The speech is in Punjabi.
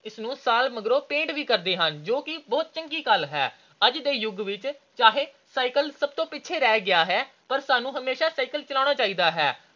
ਇਸਨੂੰ ਸਾਲ ਮਗਰੋਂ paint ਵੀ ਕਰਦੇ ਹਨ ਜੋ ਕਿ ਬਹੁਤ ਚੰਗੀ ਗੱਲ ਹੈ। ਅੱਜ ਦੇ ਯੁੱਗ ਵਿੱਚ ਚਾਹੇ cycle ਬਹੁਤ ਪਿੱਛੇ ਰਹਿ ਗਿਆ ਹੈ ਪਰ ਸਾਨੂੰ cycle ਚਲਾਉਣਾ ਚਾਹੀਦਾ ਹੈ।